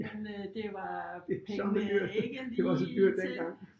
Men øh det var pengene ikke lige til